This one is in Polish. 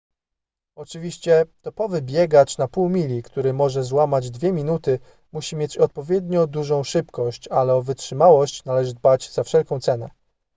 oczywiście topowy biegacz na pół mili który może złamać dwie minuty musi mieć odpowiednio dużą szybkość ale o wytrzymałość należy dbać za wszelką cenę